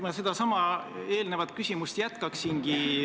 Ma sedasama eelnevat küsimust jätkaksingi.